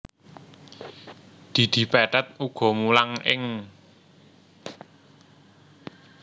Didi Petet uga mulang ing